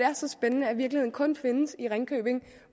er så spændende at virkeligheden kun findes i ringkøbing